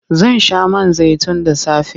Zan sha man zaitun da safe.